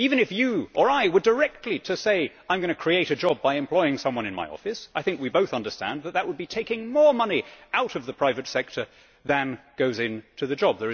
Even if you or I were directly to say ʽI am going to create a job by employing someone in my officeʼ, I think we both understand that this would be taking more money out of the private sector than goes into the job.